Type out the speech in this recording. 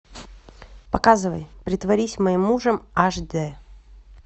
показывай притворись моим мужем аш дэ